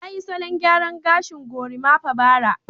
Ya yi salon gyaran gashin gorimapa bara